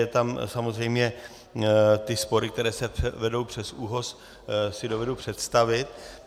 Jsou tam samozřejmě ty spory, které se vedou přes ÚOHS, si dovedu představit.